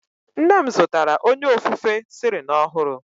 Nne m zụtara onye ofufe Celling ọhụrụ.